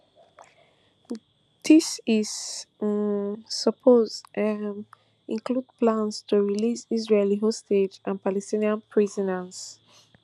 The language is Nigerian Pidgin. dis is um suppose um include plans to release israeli hostages and palestinian prisoners